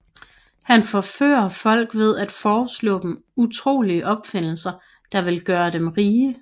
Han forfører folk ved at foreslå dem utrolige opfindelser der vil gøre dem rige